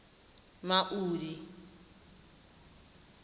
maudi